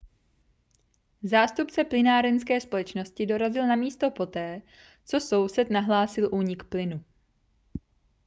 zástupce plynárenské společnosti dorazil na místo poté co soused nahlásil únik plynu